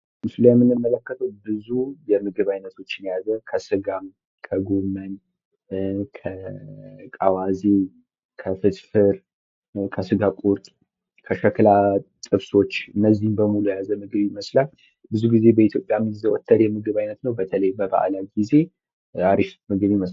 ይህ በምስሉ ላይ የምንመለከተው ብዙ የምግብ አይነቶችን የያዘ ሲሆን ለምሳሌ:- ስጋ፣ ጎመን፣ አዋዜ፣ ፍርፍር እና ሌሎችም ይገኙበታል። በኢትዮጵያ የተለመደ የምግብ አይነት ሲሆን በተለይ በበአል ጊዜ ሃሪፍና ተመራጭ ምግብ ነው።